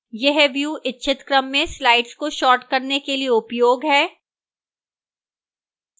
यह view इच्छित क्रम में slides को sort करने के लिए उपयोग है